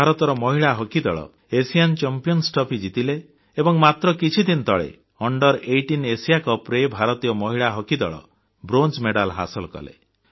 ଭାରତର ମହିଳା ହକି ଦଳ ଆସିଆନ୍ ଚାମ୍ପିଅନ୍ସ ଟ୍ରଫି ଜିତିଲେ ଏବଂ ମାତ୍ର କିଛି ଦିନ ତଳେ Under18 ଏଏସଆଇଏ Cupରେ ଭାରତୀୟ ମହିଳା ହକି ଦଳ ବ୍ରୋଞ୍ଜ ପଦକ ହାସଲ କଲେ